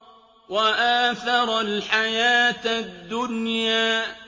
وَآثَرَ الْحَيَاةَ الدُّنْيَا